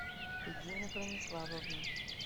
регина брониславовна